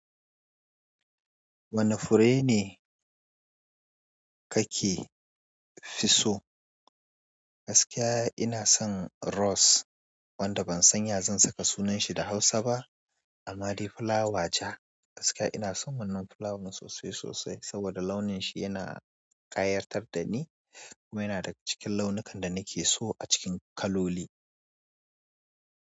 Wane fure ne kake fi so? Gaskiya ina son rose wanda ban san ya zan saka sunan shi da Hausa ba. A madai fulawa ja, gaskiya ina son wannan fulawan sosai sosai saboda launin shi yana ƙayatar da ni kuma yana daga cikin launukan da nake so a cikin kaloli.